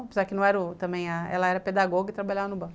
Apesar que não era ó, também, ela era pedagoga e trabalhava no banco.